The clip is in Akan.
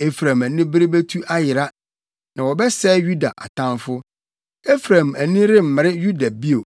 Efraim anibere betu ayera, na wɔbɛsɛe Yuda atamfo. Efraim ani remmere Yuda bio,